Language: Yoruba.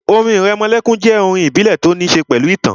Orin ìrẹmọlẹ́kún jẹ́ àwọn orin ìbílẹ̀ tó ní ṣe pẹ̀lú ìtàn